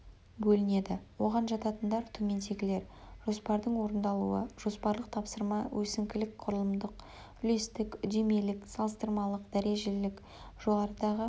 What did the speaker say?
бөлінеді оған жататындар төмендегілер жоспардың орындалуы жоспарлық тапсырма өсіңкілік құрылымдық үлестік үдемелік салыстырмалық дәрежелік жоғарыдағы